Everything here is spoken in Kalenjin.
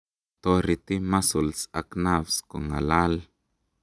toreti muscles ak nerves kongalal